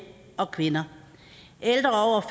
og kvinder ældre